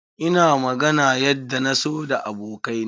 Ina magana yadda na so da abokai na.